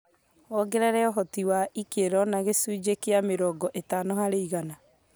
wongerera ũhoti wa ikero na gĩcunjĩ kĩa mĩrongo ĩtano harĩ igana